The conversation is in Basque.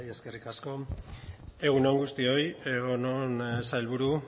zurea da hitza bai eskerrik asko egun on guztioi egun on sailburu